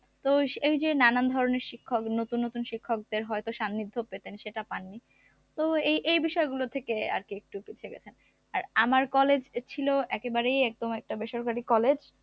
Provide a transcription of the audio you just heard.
তো এই যে নানান ধরনের শিক্ষক নতুন নতুন শিক্ষকদের হয়তো সান্নিধ্য পেতেন কিন্তু সেটা পাননি তো এই~এই বিষয়গুলো থেকেই আরকি একটু পিছিয়ে গেছেন আর আমার college ছিল একেবারেই একদম একটা বেসরকারি college